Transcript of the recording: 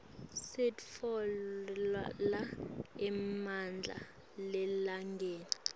sitfola emandla elangeni